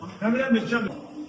Mən burda.